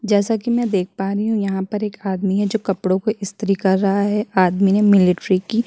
जैसा कि मैं देख पा रही हूँ यहाँ पर एक आदमी है जो कपड़ों को स्त्री कर रहा है आर्मी ने मिलिट्री की --